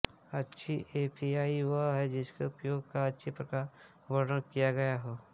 अच्छी एपीआई वह है जिसके उपयोग का अच्छी प्रकार वर्णन किया गया हो